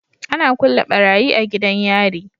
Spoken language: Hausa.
Ana kulle barayi a gidan yari